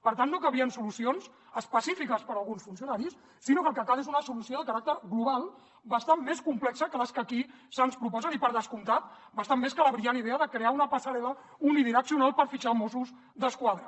per tant no cabrien solucions específiques per a alguns funcionaris sinó que el que cal és una solució de caràcter global bastant més complexa que les que aquí se’ns proposen i per descomptat bastant més que la brillant idea de crear una passarel·la unidireccional per fitxar mossos d’esquadra